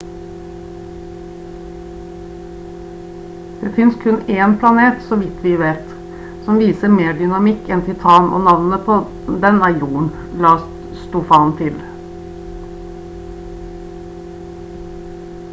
«det finnes kun én planet så vidt vi vet som viser mer dynamikk enn titan og navnet på den er jorden» la stofan til